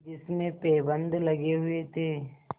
जिसमें पैबंद लगे हुए थे